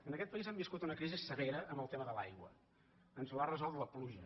en aquest país hem vis·cut una crisi severa amb el tema de l’aigua ens l’ha resolt la pluja